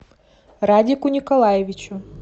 радику николаевичу